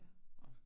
Ja